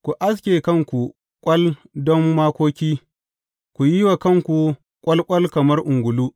Ku aske kanku ƙwal don makoki, ku yi wa kanku ƙwalƙwal kamar ungulu.